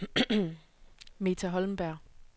Meta Holmberg